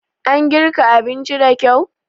An girka abincin da kyau?